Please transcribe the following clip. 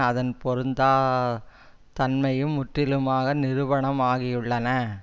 அதன் பொருந்தா தன்மையும் முற்றிலுமாக நிரூபணம் ஆகியுள்ளன